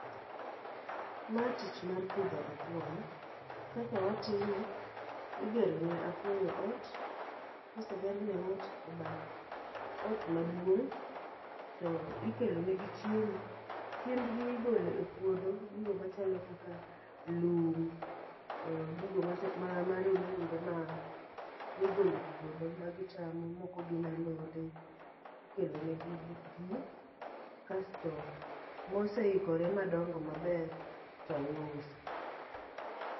Ma tich mar pidho apuoyo. Kaka watime, igero ne apuoyo ot, kosegerne ot e bath ot maduong' to ikelo negi chiemo. Chiembgi igolo e puodho, gigo machalo kaka lum. Oh gigo marolumbe ma migole puodho ma gichamo, moko gin alode. Ikelo negi gi pi, kasto moseikore madongo maber to iuso.